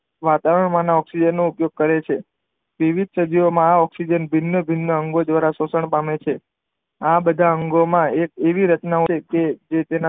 વાતાવરણ માનો ઓકઝીજન નો ઉપયોગ કરે છે વિવિધ સજીવો માં આ ઓકઝીજન ભિન્ન ભિન્ન અંગો દ્વારા પોષણ પામે છે આ બધા અંગો માં એક એવીરચના હોય છે જે તેના